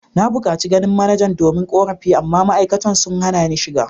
Na bukaci ganin manajan domin korafi amma ma’aikatan sun hana ni shiga.